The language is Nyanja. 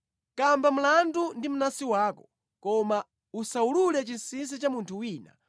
Kamba mlandu ndi mnansi wako, koma osawulula chinsinsi cha munthu wina